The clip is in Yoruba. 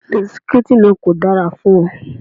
Bisikítì náà kò dára fún ọ.